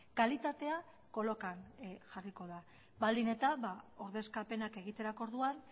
kalitatea kolokan jarriko da baldin eta ordezkapenak egiterako orduan